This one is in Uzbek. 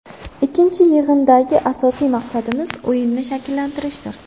Ikkinchi yig‘indagi asosiy maqsadimiz o‘yinni shakllantirishdir.